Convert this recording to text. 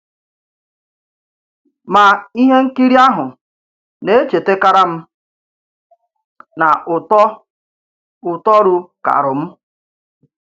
Mà ìhè ǹkìrì àhù nà-echètàkàrà m nà ùtò ùtòrù kàrù m.